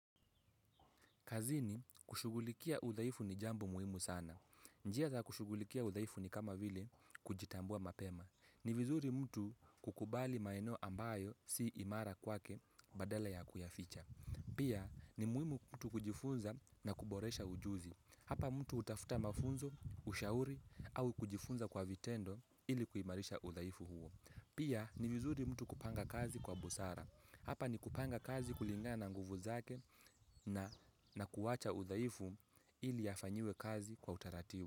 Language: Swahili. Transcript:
Kazini kushugulikia udhaifu ni jambo muhimu sana. Njia za kushugulikia udhaifu ni kama vile kujitambua mapema. Ni vizuri mtu kukubali maeno ambayo si imara kwake badala ya kuyaficha. Pia ni muhimu mtu kujifunza na kuboresha ujuzi. Hapa mtu hutafuta mafunzo, ushauri au kujifunza kwa vitendo ili kuimarisha udhaifu huo. Pia ni vizuri mtu kupanga kazi kwa busara. Hapa ni kupanga kazi kulingana na nguvu zake na kuacha udhaifu ili yafanyiwe kazi kwa utaratibu.